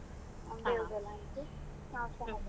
ಬೇವು ಬೆಲ್ಲ ಹಂಚಿ ಆಚರಣೆ ಮಾಡೋದು ಹ್ಮ್.